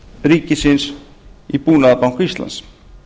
ríkisins í búnaðarbanka íslands